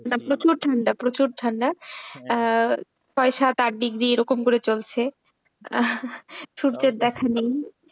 প্রচুর ঠান্ডা প্রচুর ঠান্ডা আহ ছয় সাত আট degree এইরকম করে চলছে সূর্যের দেখা নেই।